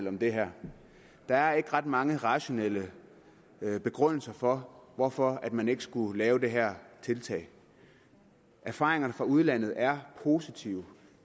om det her der er ikke ret mange rationelle begrundelser for hvorfor man ikke skulle lave det her tiltag erfaringerne fra udlandet er positive